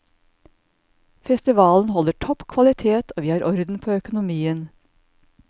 Festivalen holder topp kvalitet, og vi har orden på økonomien.